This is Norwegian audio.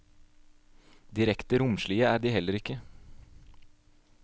Direkte romslige er de heller ikke.